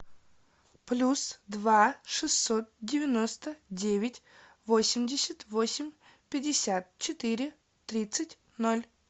плюс два шестьсот девяносто девять восемьдесят восемь пятьдесят четыре тридцать ноль